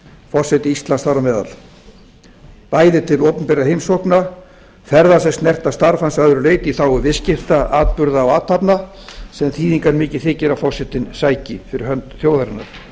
forseti íslands þar á meðal bæði til opinberra heimsókna ferðalög snerta starf hans að öðru leyti í þágu viðskipta atburða og athafna sem þýðingarmikið þykir að forsetinn sæki fyrir hönd þjóðarinnar